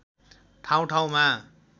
ठाउँ ठाउँमा